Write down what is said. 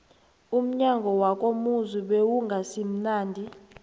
umnyanya wakomuzi bewungasimunandi